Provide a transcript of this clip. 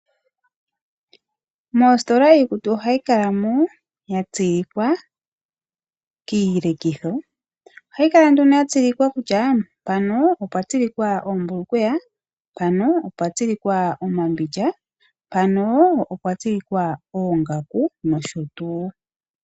Moositola iikutu ohayi kala mo ya tsilikwa kiilekitho, ohayi kala nduno ya tsilikwa kutya mpano opwa tsilikwa oombulukweya, mpano opwa tsilikwa omambindja, mpano opwa tsilikwa oongaku nosho tuu.